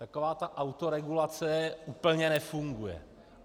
Taková ta autoregulace úplně nefunguje.